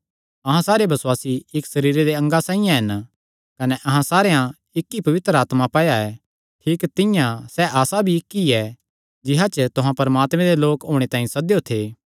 अहां सारे बसुआसी इक्क सरीरे दे अंगा साइआं हन कने अहां सारेयां इक्क ई पवित्र आत्मा पाया ऐ ठीक तिंआं सैह़ आसा भी इक्क ई ऐ जिसा च तुहां परमात्मे दे लोक होणे तांई सद्देयो थे